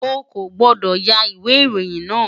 O kò gbọ́dọ̀ ya ìwé ìròyìn náà!